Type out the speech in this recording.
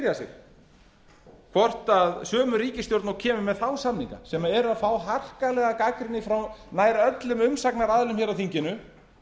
spyrja sig hvort sömu ríkisstjórn og kemur með þá samninga sem er að fá harkalega gagnrýni frá nær öllum umsagnaraðilum á þinginu